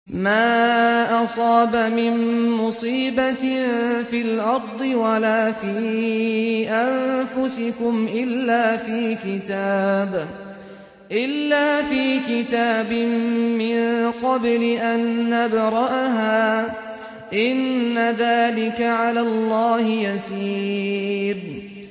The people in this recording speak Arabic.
مَا أَصَابَ مِن مُّصِيبَةٍ فِي الْأَرْضِ وَلَا فِي أَنفُسِكُمْ إِلَّا فِي كِتَابٍ مِّن قَبْلِ أَن نَّبْرَأَهَا ۚ إِنَّ ذَٰلِكَ عَلَى اللَّهِ يَسِيرٌ